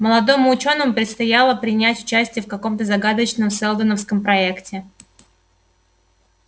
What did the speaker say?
молодому учёному предстояло принять участие в каком-то загадочном сэлдоновском проекте